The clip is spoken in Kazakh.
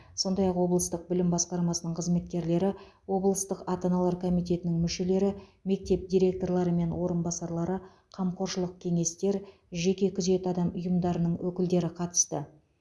сондай ақ облыстық білім басқармасының қызметкерлері облыстық ата аналар комитетінің мүшелері мектеп директорлары мен орынбасарлары қамқоршылық кеңестер жеке күзет ұйымдарының өкілдері қатысты